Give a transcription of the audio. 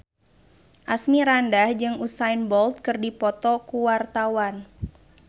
Asmirandah jeung Usain Bolt keur dipoto ku wartawan